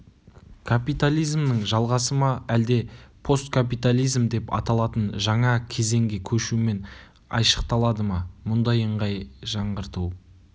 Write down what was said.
капитализмнің жалғасы ма әлде посткапитализм деп аталатын жаңа кезеңге көшумен айшықталады ма мұндай ыңғай жаңғырту